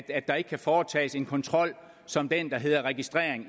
at der ikke kan foretages en kontrol som den der hedder registrering